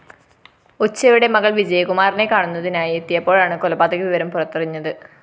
ഉച്ചയോടെ മകൾ വിജയകുമാറിനെ കാണുന്നതിനായി എത്തിയപ്പോഴാണ് കൊലപാതക വിവരം പുറത്തറിഞ്ഞത്